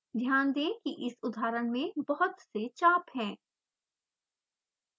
ध्यान दें कि इस उदाहरण में बहुत से चाप हैं